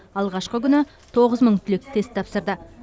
алғашқы күні тоғыз мың түлек тест тапсырды